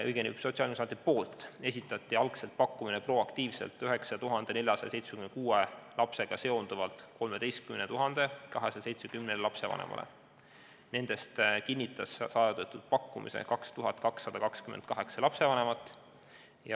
" Kokku esitas Sotsiaalkindlustusamet proaktiivselt pakkumise 9476 lapsega seonduvalt 13 270 lapsevanemale, neist kinnitas saadud pakkumise 2228 lapsevanemat.